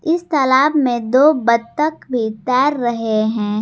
इस तालाब में दो बत्तख भी तैर रहे हैं।